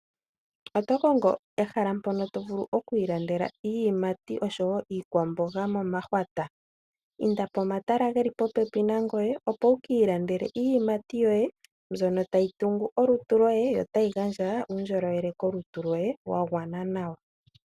Otokongo ehala mpono tovulu okwiilandela iiyimati osho wo iikwamboga omahwata? Inda pomatala geli popepi nangoye opo wukiilandele iiyimati yoye mbyono tayi tungu olutu lwoye yo tayi gandja uundjolowele kolutu lwoye wagwana nawa.